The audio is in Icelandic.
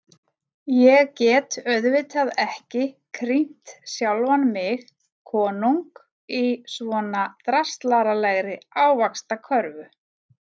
Ég get auðvitað ekki krýnt sjálfan mig konung í svona draslaralegri ávaxtkörfu.